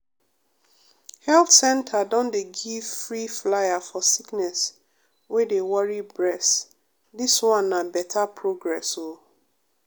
health center don dey give free flyer for sickness wey dey worry bress dis one na beta progress o.